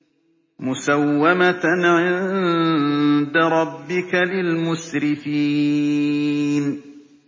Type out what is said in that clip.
مُّسَوَّمَةً عِندَ رَبِّكَ لِلْمُسْرِفِينَ